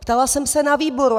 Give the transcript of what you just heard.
Ptala jsem se na výboru.